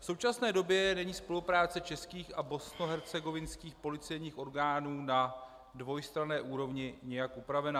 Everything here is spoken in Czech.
V současné době není spolupráce českých a bosenskohercegovinských policejních orgánů na dvojstranné úrovni nijak upravena.